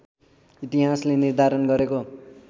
इतिहासले निर्धारण गरेको